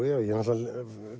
ég náttúrulega